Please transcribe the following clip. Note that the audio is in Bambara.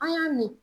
An y'a min